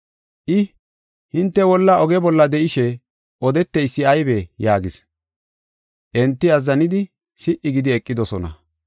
I, “Hinte wolla oge bolla de7ishe odeteysi aybee?” yaagis. Enti azzanidi si77i gidi eqidosona.